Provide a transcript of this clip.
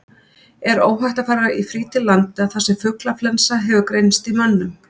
Er óhætt að fara í frí til landa þar sem fuglaflensa hefur greinst í mönnum?